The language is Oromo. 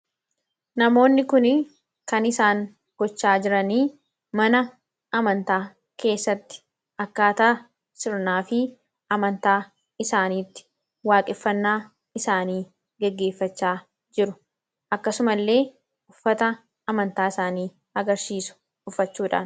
Namoonni kun kan isaan gocha jiran mana amantaa keessatti akkaataa sirnaa fi amantaa isaaniitti waaqeffannaa isaanii gaggeeffachaa jiru. Akkasumallee uffata amantaa isaanii agarsiisu uffachuudhaan.